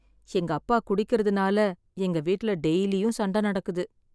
எங்க அப்பா குடிக்கிறதுனால எங்க வீட்டுல டெய்லியும் சண்டை நடக்குது.